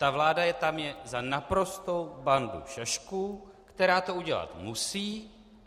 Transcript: Ta vláda je tam za naprostou bandu šašků, která to udělat musí.